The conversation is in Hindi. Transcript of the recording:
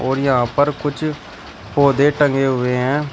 और यहां पर कुछ पौधे टंगे हुए हैं।